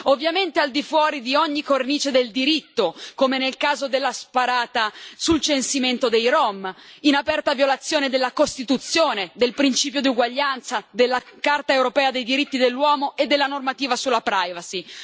Ovviamente al di fuori di ogni cornice del diritto, come nel caso della sparata sul censimento dei rom, in aperta violazione della Costituzione, del principio di uguaglianza, della Carta europea dei diritti dell'uomo e della normativa sulla privacy.